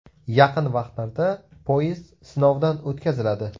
Yaqin vaqtlarda poyezd sinovdan o‘tkaziladi.